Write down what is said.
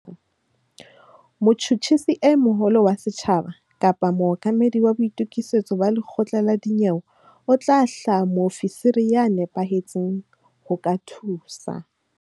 Motjhutjhisi e moholo wa setjhaba kapa mookamedi wa boitokisetso ba lekgotla la dinyewe o tla hlwaya moofisiri ya nepahetseng ho ka thusa.